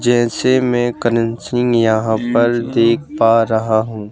जैसे मैं करण सिंह यहां पर देख पा रहा हूं।